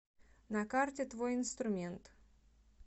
на карте твой инструмент